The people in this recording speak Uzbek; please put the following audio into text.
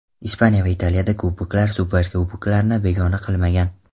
Ispaniya va Italiyada kuboklar, superkuboklarni begona qilmagan.